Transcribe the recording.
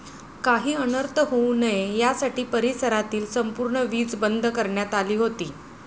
काही अनर्थ होऊ नये यासाठी परिसरातील संपूर्ण वीज बंद करण्यात आली होती.